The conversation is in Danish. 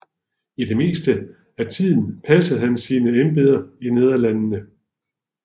I det meste af tiden passede han sine embeder i Nederlandene